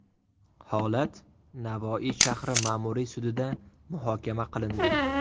Holat Navoiy shahri ma’muriy sudida muhokama qilindi.